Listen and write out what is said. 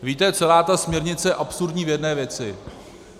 Víte, celá ta směrnice je absurdní v jedné věci.